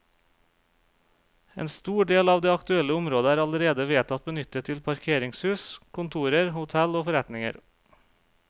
En stor del av det aktuelle området er allerede vedtatt benyttet til parkeringshus, kontorer, hotell og forretninger.